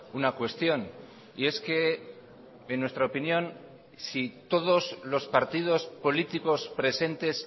una cuestión y es que en nuestra opinión si todos los partidos políticos presentes